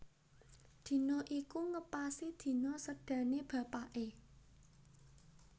Dina iku ngepasi dina sédané bapaké